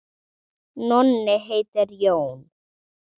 Nonni heitir Jón.